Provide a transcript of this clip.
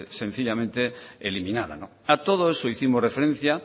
sencillamente eliminada a todo eso hicimos referencia